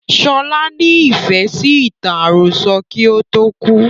Sọlá ni Ifẹ̀ sì ìtàn àròsọ̀ kí ó tó kú